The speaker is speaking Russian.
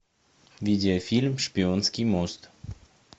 видеофильм шпионский мост